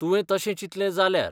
तुवें तशें चिंतलें जाल्यार.